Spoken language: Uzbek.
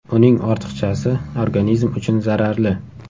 Uning ortiqchasi organizm uchun zararli.